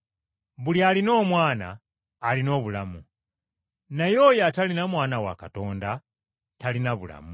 Buli alina Omwana alina obulamu, naye oyo atalina Mwana wa Katonda talina bulamu.